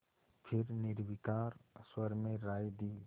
फिर निर्विकार स्वर में राय दी